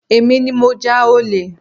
Èmi ní mo ja ole